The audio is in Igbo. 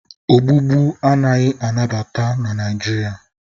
Ogbugbu anaghị anabata na Naịjirịa